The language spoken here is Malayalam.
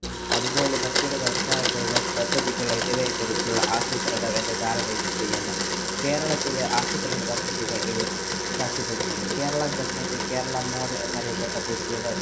അതുപോലെ മറ്റൊരു വ്യവസായങ്ങള്‍, പദ്ധതികള്‍ എന്നിവയെ കുറിച്ചുള്ള ആസൂത്രണം കേരളത്തിലെ ആസൂത്രണപദ്ധതികളും സാക്ഷ്യപ്പെടുത്തുന്നു. കേരള government കേരള mode എന്നറിയപ്പെട്ട ഒരു വ്യവ~